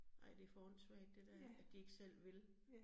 Nej, det for åndssvagt det dér, at de ikke selv vil